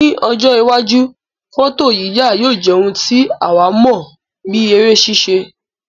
Ní ọjọ́ iwájú, fọ́tòyíyà yóò jẹ́ ohun tí àwọn mọ̀ bíi eré ṣíṣe